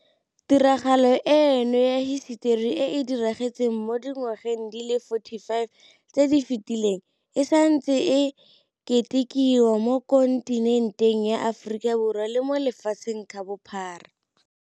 Tiragalo eno ya hisetori e e diragetseng mo dingwageng di le 45 tse di fetileng e santse e ketikiwa mo kontinenteng ya Aforika le mo lefatsheng ka bophara.